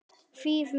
Þýð. mín.